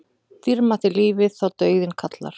Dýrmætt er lífið þá dauðinn kallar.